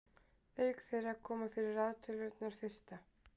auk þeirra koma fyrir raðtölurnar fyrsta